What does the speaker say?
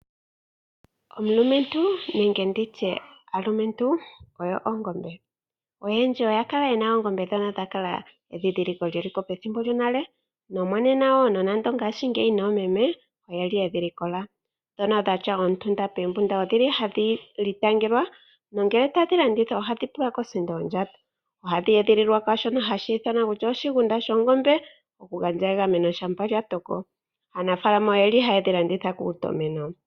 Omulumentu nenge nditye aalumentu oyo ongombe, oyendji oya kala yena oongombe ndhono dha kala endhindhiliko lyeliko pethimbo lyonale nomonena wo nonande ngaashingeyi oomeme oyeli yedhi likola ndhono dhatya omitunda poombunda ohadhi itangelwa nongele tadhi landithwa ohadhi tulwa kosindo yondjato. Ohadhi edhililwa moshigunda oku gandja egameno shampa lya toko. Aanafalama ohaya dhi landitha kuutumeno.